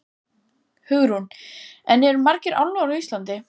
Hugrún: En eru margir álfar á Íslandi?